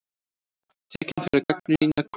Tekinn fyrir að gagnrýna konung